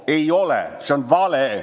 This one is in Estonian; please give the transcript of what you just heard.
Ei ole – see on vale.